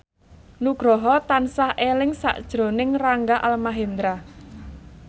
Nugroho tansah eling sakjroning Rangga Almahendra